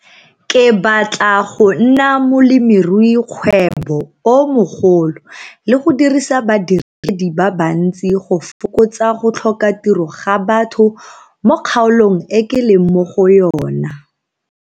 Ke batla go nna molemiruikgwebo o mogolo le go dirisa badiredi ba bantsi go fokotsa go tlhoka tiro ga batho mo kgaolong e ke leng mo go yona.